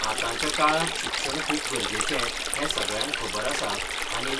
आतांच्या काळांत शिक्षण खूब गरजेचें, हें सगळ्यांक खबर आसा आनी